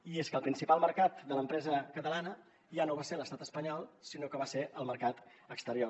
i és que el principal mercat de l’empresa catalana ja no va ser l’estat espanyol sinó que va ser el mercat exterior